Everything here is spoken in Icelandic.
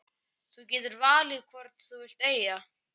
Þú getur valið hvorn þú vilt eiga.